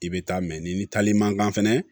I bɛ taa mɛ ni taali mankan fɛnɛ